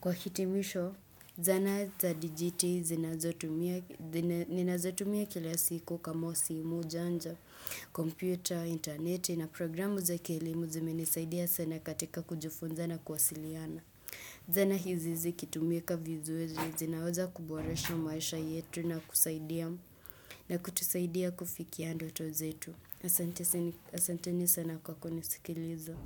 Kwa hitimisho, zana za dijiti ninazotumia kila siku kama simu janja, kompyuta, intaneti na programu za kilimu zimenisaidia sana katika kujufunza na kwasiliana. Zana hizi zi kitumika vizuri zinaweza kuboresha maisha yetu na kusaidia na kutusaidia kufikia ndoto zetu. Asante ni sana kwa kunisikiliza.